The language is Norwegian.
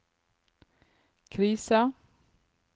krisa